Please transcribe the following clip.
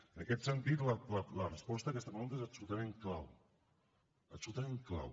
en aquest sentit la resposta a aquesta pregunta és absolutament clau absolutament clau